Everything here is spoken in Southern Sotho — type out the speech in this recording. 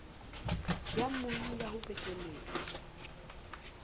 ya mmuni ya ho bokelletsa